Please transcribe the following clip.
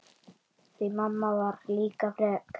Því mamma var líka frek.